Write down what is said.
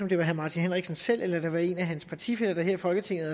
det var herre martin henriksen selv eller en af hans partifæller her i folketinget